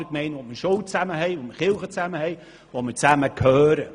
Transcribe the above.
Dort haben wir ein Zusammengehörigkeitsgefühl und führen Schule und Kirche gemeinsam.